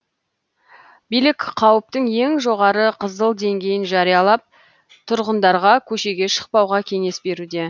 билік қауіптің ең жоғары қызыл деңгейін жариялап тұрғындарға көшеге шықпауға кеңес беруде